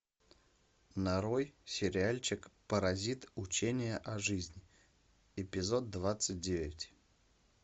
нарой сериальчик паразит учение о жизни эпизод двадцать девять